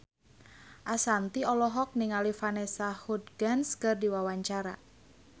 Ashanti olohok ningali Vanessa Hudgens keur diwawancara